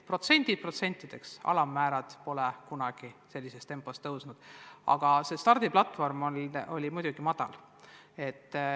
Protsendid protsentideks, alammäärad pole kunagi sellises tempos kasvanud, aga stardiplatvorm oli teadagi madal.